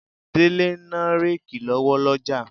Délé ń ná réèkì lọ́wọ́ lọ́jà.